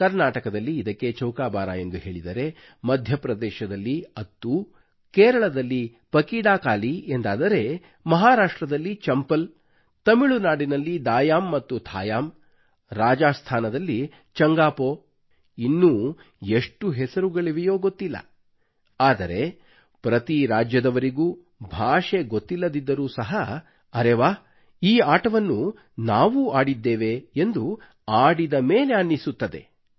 ಕರ್ನಾಟಕದಲ್ಲಿ ಇದಕ್ಕೆ ಚೌಕ ಬಾರಾ ಎಂದು ಹೇಳಿದರೆ ಮಧ್ಯಪ್ರದೇಶದಲ್ಲಿ ಅತ್ತೂ ಕೇರಳದಲ್ಲಿ ಪಕೀಡಾಕಾಲೀ ಎಂದಾದರೆ ಮಹಾರಾಷ್ಟ್ರದಲ್ಲಿ ಚಂಪಲ್ ತಮಿಳುನಾಡಿನಲ್ಲಿ ದಾಯಾಮ್ ಮತ್ತು ಥಾಯಾಮ್ ರಾಜಾಸ್ಥಾನದಲ್ಲಿ ಚಂಗಾಪೋ ಇನ್ನೂ ಎಷ್ಟು ಹೆಸರುಗಳಿವೆಯೋ ಗೊತ್ತಿಲ್ಲ ಆದರೆ ಪ್ರತಿ ರಾಜ್ಯದವರಿಗೂ ಭಾಷೆ ಗೊತ್ತಿಲ್ಲದಿದ್ದರೂ ಸಹ ಅರೇ ವಾವ್ ಈ ಆಟವನ್ನು ನಾವೂ ಆಡಿದ್ದೇವೆ ಎಂದು ಆಡಿದ ಮೇಲೆ ಅನ್ನಿಸುತ್ತದೆ